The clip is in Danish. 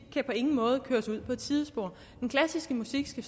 på ingen måde kan køres ud på et sidespor den klassiske musik skal